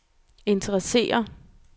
interesserer